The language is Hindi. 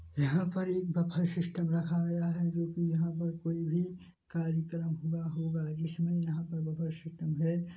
यहाँ पर एक बुफ्फे सिस्टम रखा गया है जो की यहाँ पर कोई भी कार्यकर्म हुआ होगा इसीलिए यहाँ पर बुफ्फे सिस्टम है।